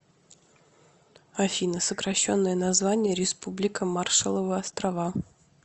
афина сокращенное название республика маршалловы острова